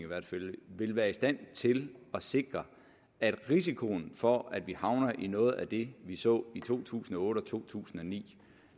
vil være i stand til at sikre at risikoen for at vi havner i noget af det vi så i to tusind og otte og to tusind og ni